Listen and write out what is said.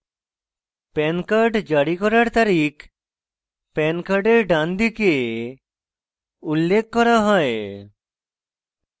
pan card জারি করার তারিখ pan card ডানদিকে উল্লেখ করা হয়